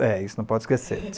É, isso não pode esquecer.